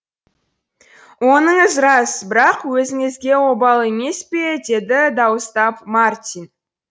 оныңыз рас бірақ өзіңізге обал емес пе деді дауыстап мартин